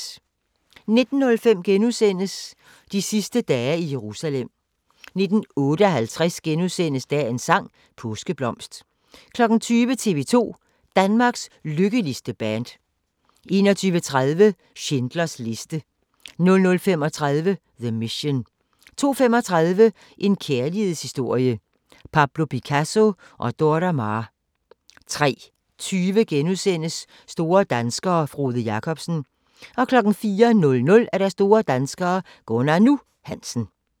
19:05: De sidste dage i Jerusalem * 19:58: Dagens sang: Påskeblomst * 20:00: tv-2 – Danmarks lykkeligste band 21:30: Schindlers liste 00:35: The Mission 02:35: En kærlighedshistorie – Pablo Picasso & Dora Maar 03:20: Store danskere - Frode Jakobsen * 04:00: Store danskere - Gunnar "Nu" Hansen